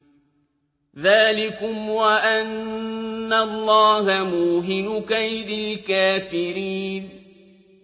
ذَٰلِكُمْ وَأَنَّ اللَّهَ مُوهِنُ كَيْدِ الْكَافِرِينَ